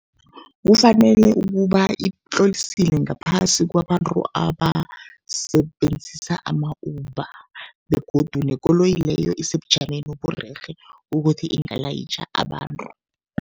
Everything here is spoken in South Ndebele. Kufanele ukuba itlolisiwe ngaphasi kwabantu abasebenzisa ama-Uber begodu nekoloyi leyo isebujameni oburerhe ukuthi ingalayitjha abantu.